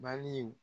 Baliw